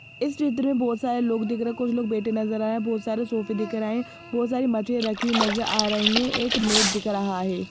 इस चित्र में बहुत सारे लोग दिख रहे हैं कुछ लोग बैठे नजर आए हैं बहुत सारे सोफे दिख रहे हैं बहुत सारी मछलियां रखी हुई नजर आ रही हैं एक मेट दिख रहा हैं।